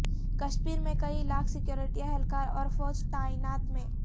کشمیر میں کئی لاکھ سکیورٹی اہلکار اور فوج تعینات ہے